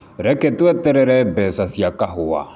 Reke tweterere mbeca cia kahũa.